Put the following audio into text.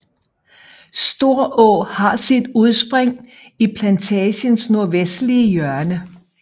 Storå har sit udspring i plantagens nordvestlige hjørne